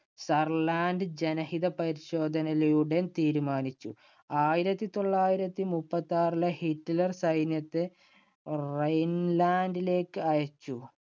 Saarland ജനഹിതപരിശോധനയിലൂടെ തീരുമാനിച്ചു. ആയിരത്തി തൊള്ളായിരത്തി മുപ്പത്താറിലെ ഹിറ്റ്ലർ സൈന്യത്തെ റൈൻലാൻഡിലേക്ക് അയച്ചു.